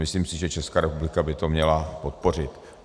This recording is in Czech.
Myslím si, že Česká republika by to měla podpořit.